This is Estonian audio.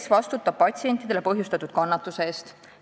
Kes vastutab patsientidele põhjustatud kannatuste eest?